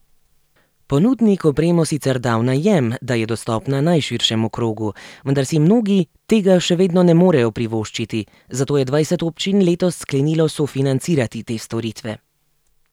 Ponudnik opremo sicer da v najem, da je dostopna najširšemu krogu, vendar si mnogi tega še vedno ne morejo privoščiti, zato je dvajset občin letos sklenilo sofinancirati te storitve.